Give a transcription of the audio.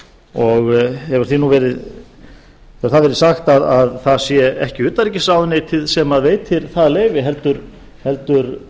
og hefur verið sagt að það sé ekki utanríkisráðuneytið sem veitir það leyfi heldur